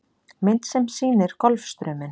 Mynd sem sýnir Golfstrauminn.